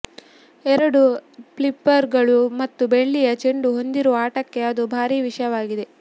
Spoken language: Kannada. ಎರಡು ಫ್ಲಿಪ್ಪರ್ಗಳು ಮತ್ತು ಬೆಳ್ಳಿಯ ಚೆಂಡು ಹೊಂದಿರುವ ಆಟಕ್ಕೆ ಅದು ಭಾರಿ ವಿಷಯವಾಗಿದೆ